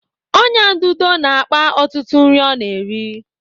Ọnyá ududo na-akpa ọtụtụ nri ọ na-eri.